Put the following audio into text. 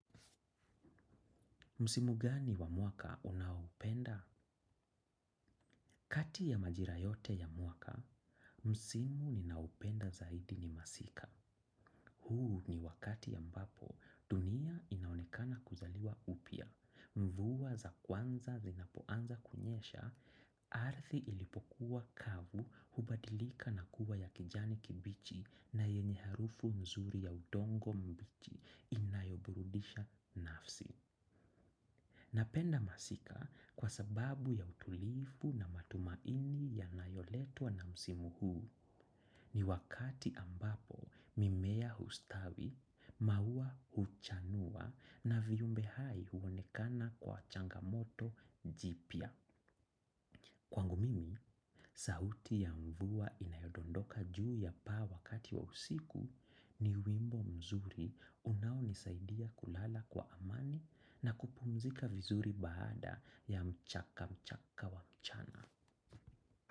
Msimu gani wa mwaka unaoupenda? Kati ya majira yote ya mwaka, msimu ninaoupenda zaidi ni masika. Huu ni wakati ya ambapo, dunia inaonekana kuzaliwa upya. Mvua za kwanza zinapoanza kunyesha, ardhi ilipokuwa kavu hubadilika na kuwa ya kijani kibichi na yenye harufu nzuri ya udongo mbichi inayoburudisha nafsi. Napenda masika kwa sababu ya utulivu na matumaini yanayoletwa na msimu huu ni wakati ambapo mimea hustawi, maua huchanua na viumbe hai huonekana kwa changamoto jipya. Kwangu mimi, sauti ya mvua inayodondoka juu ya paa wakati wa usiku ni wimbo mzuri unaonisaidia kulala kwa amani na kupumzika vizuri baada ya mchaka mchaka wa mchana.